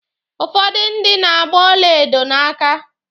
Ụfọdụ ndị na-agba ọlaedo n'aka.